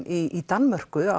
í Danmörku